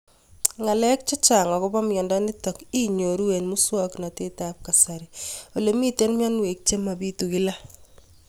Ng'alek chechang' akopo miondo nitok inyoru eng' muswog'natet ab kasari ole mito mianwek che mapitu kila